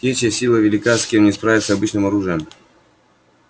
те чья сила велика с кем не справиться обычным оружием